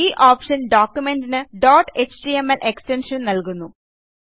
ഈ option document ന് dot HTML extension നൽകുന്നു